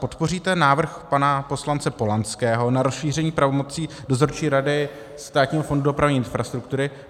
Podpoříte návrh pana poslanec Polanského na rozšíření pravomocí Dozorčí rady Státního fondu dopravní infrastruktury?